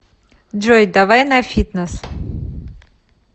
джой давай на фитнес